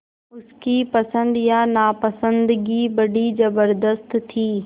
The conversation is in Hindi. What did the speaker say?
उसकी पसंद या नापसंदगी बड़ी ज़बरदस्त थी